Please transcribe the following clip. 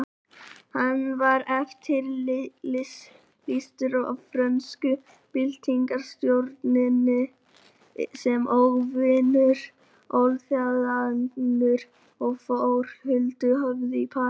Hann var eftirlýstur af frönsku byltingarstjórninni sem óvinur alþýðunnar og fór huldu höfði í París.